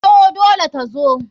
Taiwo dole tazo.